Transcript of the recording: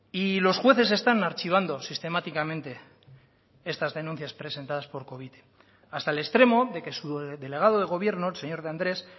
y los jueces están archivando sistemáticamente estas denuncias presentadas por covite hasta el extremo de que su delegado de gobierno el señor de andrés